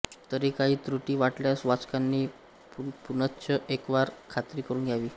तरी काही त्रुटी वाटल्यास वाचकांनी पुनश्च एकवार खात्री करून घ्यावी